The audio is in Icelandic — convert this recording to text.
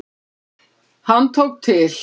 Hann tók til.